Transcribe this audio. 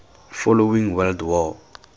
following world war